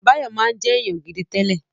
Báyọ̀ máa ń jẹ́ èèyàn gidi tẹ́lẹ̀